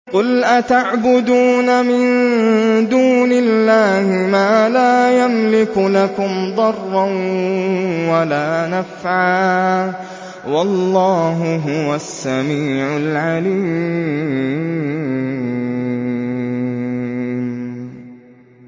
قُلْ أَتَعْبُدُونَ مِن دُونِ اللَّهِ مَا لَا يَمْلِكُ لَكُمْ ضَرًّا وَلَا نَفْعًا ۚ وَاللَّهُ هُوَ السَّمِيعُ الْعَلِيمُ